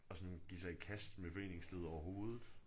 At sådan give sig i kast med foreningslivet overhovedet